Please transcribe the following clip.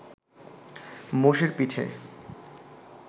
মোষের পিঠে